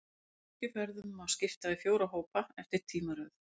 Kirkjufeðrunum má skipta í fjóra hópa, eftir tímaröð.